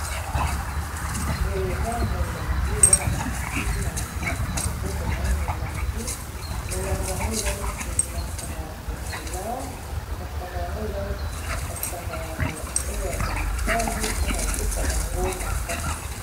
Boye eza molangi eza na moto asimbi na loboko na ye molangi molangi yango eza neti masanga ya komela masanga yango eza neti masanga oya mobali mpona kopesa bango makasi